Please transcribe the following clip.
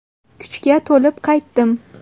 Kuchga to‘lib qaytdim.